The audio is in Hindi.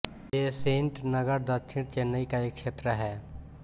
बेसेंट नगर दक्षिण चेन्नई का एक क्षेत्र है